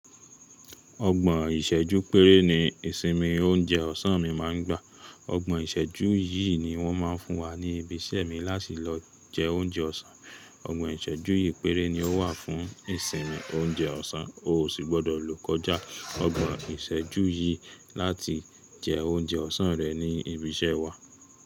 Ọgbọ̀n ìṣẹ́jú péré ni ìsinmi oúnjẹ ọ̀sán mi máa ń gbà. Ọgbọ̀n ìṣẹ́jú yìí ni wọ́n máa ń fún wa ní ibi iṣẹ́ mi láti lọ jẹ oúnjẹ ọ̀sán. Ọgbọ̀n ìṣẹ́jú ìpéré ni ó wà fún ìsinmi oúnjẹ ọ̀sán, o ò sì gbọ́dọ̀ lò kọjá ọgbọ̀n ìṣẹ́jú yìí láti jẹ oúnjẹ ọ̀sán rẹ ní ibi iṣẹ́ wa.